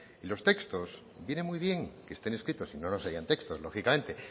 los textos vienen muy bien que estén escritos si no no serían textos lógicamente